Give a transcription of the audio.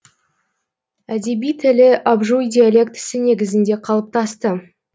әдеби тілі абжуй диалектісі негізінде қалыптасты